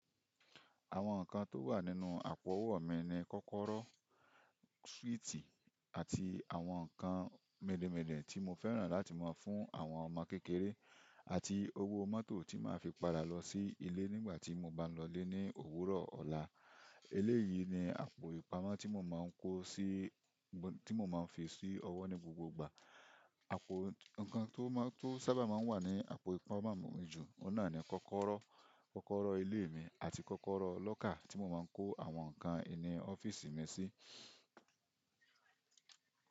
Àwọn nǹkan tó wà nínú àpò owó mi ni kọ́kọ́rọ́, swíìtì àti àwọn nǹkan midinmidin tí mo fẹ́ràn láti máa fún àwọn ọmọ kékeré àti owó mọ́tò tí màá fi padà lọ sí ilé nígbà tí mo bá ń lọ lé ní òwúrọ̀ ọ̀la. Eléyìí ni àpò ìpamọ́ tí mo máa ń kó sí, tí mo máa ń fi sí ọwọ́ ní gbogbo ìgbà. Àpò nǹkan tó maa n--to sábà máa ń wà ní àpò ìpamọ́ mi jù, ọ̀un náà ni kọ́kọ́rọ́, kọ́kọ́rọ́ ilé mi àti kọ́kọ́rọ́ lọ́kà tí mo máa ń kó àwọn nǹkan ìní ọ́fíìsì mi sí.